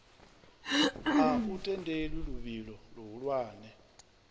a u tendeli luvhilo luhulwane